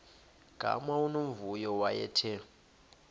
gama unomvuyo wayethe